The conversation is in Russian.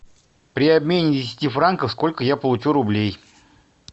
при обмене десяти франков сколько я получу рублей